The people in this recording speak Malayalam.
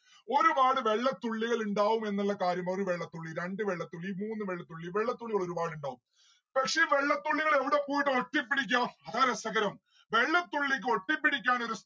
ഒരുപാട് വെള്ളത്തുള്ളികൾ ഇണ്ടാവും എന്നുള്ള കാര്യം ഒരു വെള്ളത്തുള്ളി രണ്ട്‌ വെള്ളത്തുള്ളി മൂന്ന് വെള്ളത്തുള്ളി വെള്ളത്തുള്ളികൾ ഒരുപാട് ഇണ്ടാവും പക്ഷെ വെള്ളത്തുള്ളികൾ എവിടെപോയിട്ട് ഒട്ടിപ്പിടിക്കാ? അതാ രസകരം. വെള്ളത്തുള്ളിക്ക് ഒട്ടിപ്പിടിക്കാനൊരു